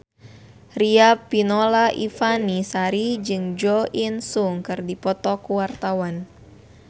Riafinola Ifani Sari jeung Jo In Sung keur dipoto ku wartawan